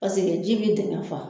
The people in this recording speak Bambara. Paseke ji be daa faa